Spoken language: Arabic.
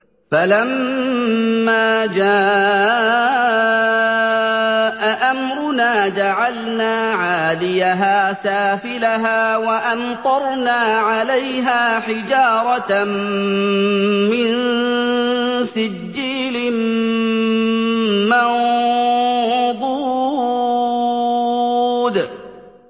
فَلَمَّا جَاءَ أَمْرُنَا جَعَلْنَا عَالِيَهَا سَافِلَهَا وَأَمْطَرْنَا عَلَيْهَا حِجَارَةً مِّن سِجِّيلٍ مَّنضُودٍ